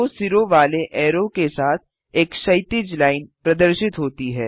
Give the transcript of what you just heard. दो सिरों वाले ऐरो के साथ एक क्षैतिज लाइन प्रदर्शित होती है